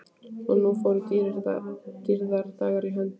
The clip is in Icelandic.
Og nú fóru dýrðardagar í hönd.